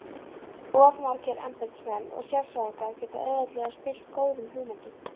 Of margir embættismenn og sérfræðingar geta auðveldlega spillt góðum hugmyndum.